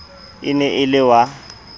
e ne e le wa